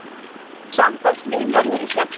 Samtals milljarður í sektir